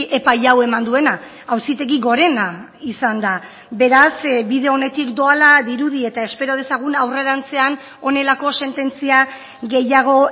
epai hau eman duena auzitegi gorena izan da beraz bide onetik doala dirudi eta espero dezagun aurrerantzean honelako sententzia gehiago